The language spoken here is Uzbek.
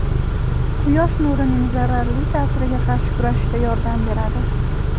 quyosh nurining zararli ta’siriga qarshi kurashishda yordam beradi.